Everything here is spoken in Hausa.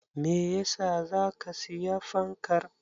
Meyasa zaka siyi fankar?